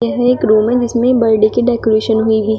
यह एक रूम है जिसमें बर्डे की डेकोरेशन हुई हुई है।